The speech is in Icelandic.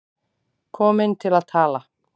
Komin til að tala.